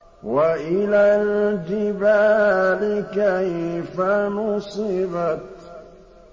وَإِلَى الْجِبَالِ كَيْفَ نُصِبَتْ